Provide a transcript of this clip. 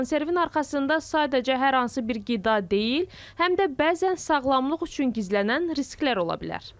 Konservin arxasında sadəcə hər hansı bir qida deyil, həm də bəzən sağlamlıq üçün gizlənən risklər ola bilər.